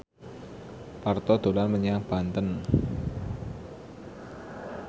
Parto dolan menyang Banten